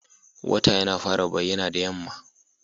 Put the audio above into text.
Wata yana fara bayyana da yamma.